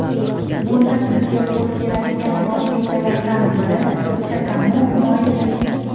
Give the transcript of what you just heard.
Bunda sizga qo‘l keladigan vositalardan biri chakamug‘ moyidir.